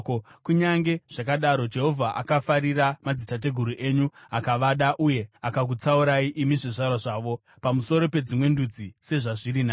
Kunyange zvakadaro Jehovha akafarira madzitateguru enyu akavada uye akakutsaurai, imi zvizvarwa zvavo, pamusoro pedzimwe ndudzi dzose sezvazviri nhasi.